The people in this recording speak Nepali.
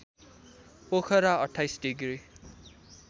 पोखरा २८ डिग्री